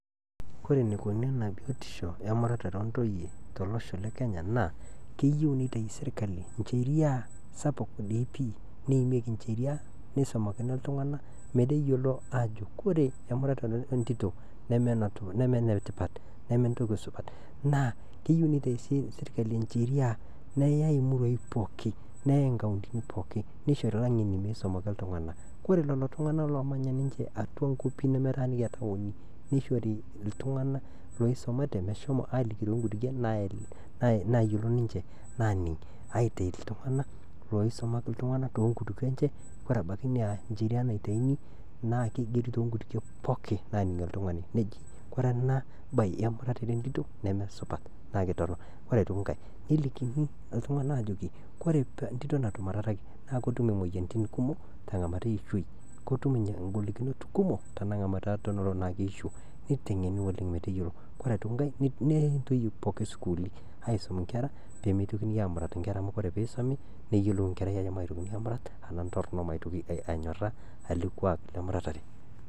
Kore neikoni ina biotisho emuratare oontoiye to losho le kenya naa keyeu neitai isirikali incheria sapuk dei pii neimieki incheria neisomakini ltungana meteyiolo aajo ore emuratare entito nemee netipata ,nemee entoki supat, naa keyeu neitai isirikali incheria neyeii murruai pooki, neyeii inkauntini pooki neichori laing'eni meisomaki ltungana, kore lelo tungana loomanya ninche atua nkwapi nemetaaniki entaoni neishorini ltungana loishori iltungana loisumate meshomo aaliki too inkutukie naayolo ninche naaning aitei ltungana loisomaki ltungana too nkutukie enche, kore abaki ina incheria naitaini naa keigeri too nkutukie pooki naaning oltungani neji kore ena baye emuratare entito nemesupat naa ketorino, ore aitoki inkae nelikini ltungana aajoki kore entito natumurataki naa ketum imoyiarritin kumok te ng'amat eichoi, ketum ingolikinot kumok te nga'amata tenelo naa keisho, neitengeni oleng meteyiolo, kore aitoki inkae neyei entoiye pookin sukulini aisuma inkerra pemeitokini aamurat inkerra amu ore peisomi neyelou inkerrai ajo maitokini aamurat ana ntorino maitoki anyoraa ale kuak le muratare.